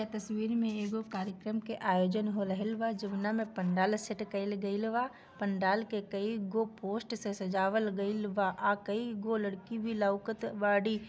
इ तस्वीर मे कार्यक्रम के आयोजन होलाइव जमना मे पदलस्य कैल्वा पड़यल के की पोस्ट से सजावट कैल्वा आ की वो लड़की भी लॉकत वाली।